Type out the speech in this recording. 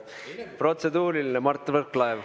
Protseduuriline, Mart Võrklaev.